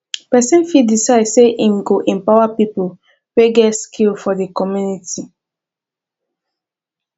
persin fit decide say im go empower pipo wey get skill for di community